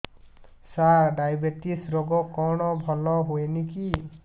ସାର diabetes ରୋଗ କଣ ଭଲ ହୁଏନି କି